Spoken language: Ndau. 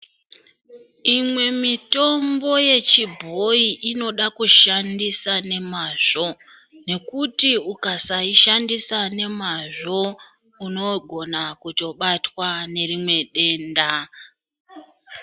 Imwe mitombo yechibhoyi inoda kushandisa nemazvo, nekuti ukasashandisa nemazvo, unogona kutobatwa nerimwe denda.